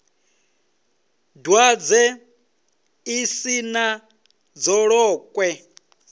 dwadze ḽi si na dzolokwe